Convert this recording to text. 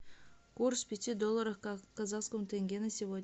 курс пяти долларов в казахском тенге на сегодня